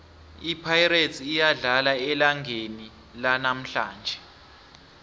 ipirates iyadlala elangeni lanamhlanje